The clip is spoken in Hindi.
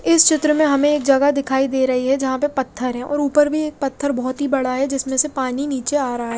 इस चित्र में हमे एक जगह दिखाई दे रही है जहा पे पत्थर है और उपर भी एक पत्थर बोहोत ही बड़ा है जिस मेसे पानी निचे आ रहा है।